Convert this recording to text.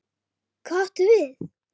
Hvað áttu við?